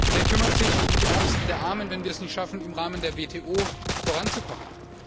Wer kümmert sich um die Ärmsten der Armen, wenn wir es nicht schaffen, im Rahmen der WTO voranzukommen?